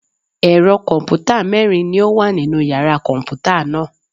Ẹ̀rọ kọ̀m̀pútà mẹ́rin ni ó wà nínu yàrá kọ̀m̀pútà náà.